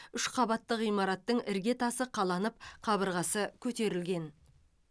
үш қабатты ғимараттың іргетасы қаланып қабырғасы көтерілген